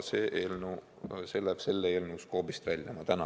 Ent selle eelnõu skoobist läheb see välja.